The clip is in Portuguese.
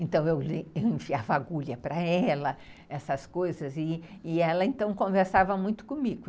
Então, eu enfiava agulha para ela, essas coisas, e e ela então, conversava muito comigo.